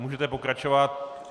Můžete pokračovat.